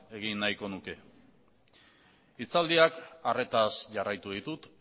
egin nahiko nuke hitzaldiak arretaz jarraitu ditut